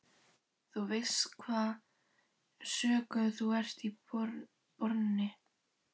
Þú veist hvaða sökum þú ert borinn.